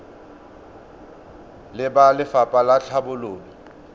le ba lefapha la tlhabololo